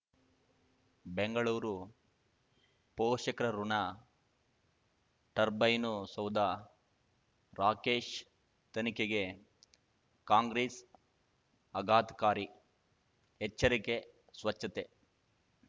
ಬೆಂಗಳೂರು ಪೋಷಕರಋಣ ಟರ್ಬೈನು ಸೌಧ ರಾಕೇಶ್ ತನಿಖೆಗೆ ಕಾಂಗ್ರೆಸ್ ಆಘಾತಕಾರಿ ಎಚ್ಚರಿಕೆ ಸ್ವಚ್ಛತೆ